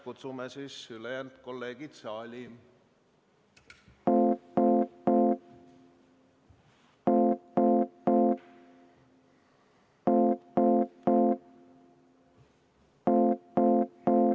Kutsume kõik kolleegid saali.